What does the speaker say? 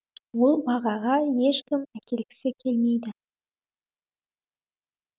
ол бағаға ешкім әкелгісі келмейді